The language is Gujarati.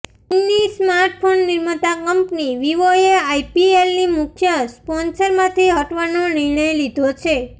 ચીનની સ્માર્ટફોન નિર્માતા કંપની વીવોએ આઈપીએલની મુખ્ય સ્પોન્સરમાંથી હટવાનો નિર્ણય લીધો છે